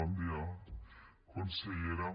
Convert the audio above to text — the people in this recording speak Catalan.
bon dia consellera